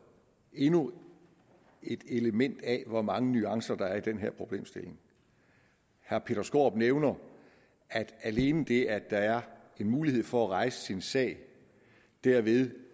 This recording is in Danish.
endnu et element af hvor mange nuancer der er i den her problemstilling herre peter skaarup nævner at alene det at der er en mulighed for at rejse sin sag derved